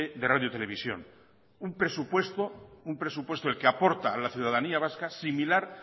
de radio televisión un presupuesto un presupuesto el que aporta a la ciudadanía vasca similar